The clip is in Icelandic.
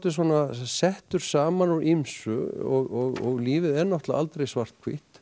settur saman úr ýmsu og lífið er náttúrulega aldrei svarthvítt